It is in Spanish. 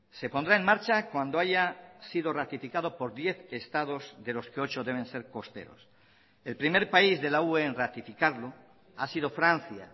se pondrá en marcha cuando haya sido ratificado por diez estados de los que ocho deben ser costeros el primer país de la ue en ratificarlo ha sido francia